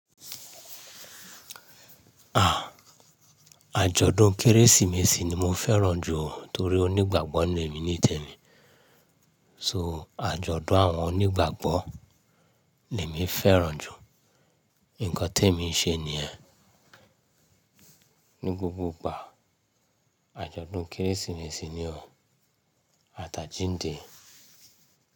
Ah! Àjọ̀dún Kérésìmesì ni mo fẹ́ràn jù torí onígbàgbọ́ ni èmi nítẹ̀ni. So àjọ̀dún àwọn onígbàgbọ́ ni èmi fẹ́ràn jù. Ǹkan tí èmi ń ṣe ni ẹ́ ní gbógbó ìgbà. Àjọ̀dún Kérésìmesì ni o. Aátá jíǹdì.